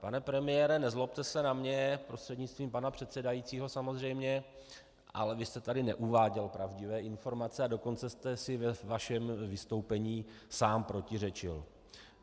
Pane premiére, nezlobte se na mě, prostřednictvím pana předsedajícího samozřejmě, ale vy jste tady neuváděl pravdivé informace, ale dokonce jste si ve vašem vystoupení sám protiřečil.